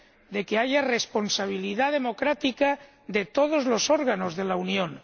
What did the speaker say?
De que haya responsabilidad democrática de todos los órganos de la Unión.